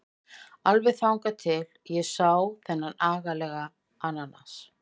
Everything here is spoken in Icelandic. Alveg þangað til ég sá þennan agalega ananas.